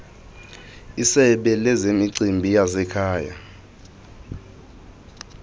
isebe lezemicimbi yasekhaya